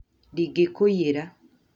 Ndingĩ kũiyera